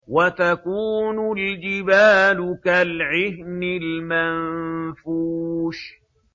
وَتَكُونُ الْجِبَالُ كَالْعِهْنِ الْمَنفُوشِ